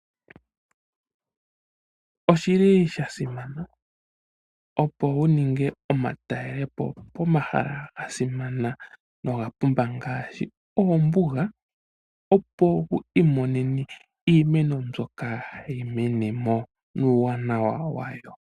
Osha simana opo wu ninge omatalelepo pomahala gasimana noga pumba ngaashi oombuga, opo wu imonene iimeno mbyoka hayi menemo nuuwanawa wayo.